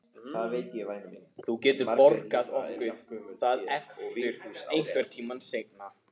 Þú getur borgað okkur það aftur einhvern tíma seinna.